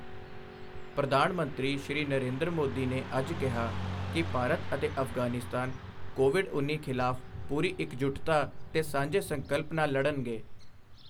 ਪ੍ਰਧਾਨ ਮੰਤਰੀ, ਸ਼੍ਰੀ ਨਰੇਂਦਰ ਮੋਦੀ ਨੇ ਅੱਜ ਕਿਹਾ ਕਿ ਭਾਰਤ ਅਤੇ ਅਫ਼ਗ਼ਾਨਿਸਤਾਨ ਕੋਵਿਡ ਉੱਨੀ ਖ਼ਿਲਾਫ਼ ਪੂਰੀ ਇੱਕਜੁਟਤਾ ਤੇ ਸਾਂਝੇ ਸੰਕਲਪ ਨਾਲ ਲੜਨਗੇ।